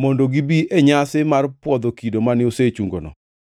mondo gibi e nyasi mar pwodho kido mane osechungono.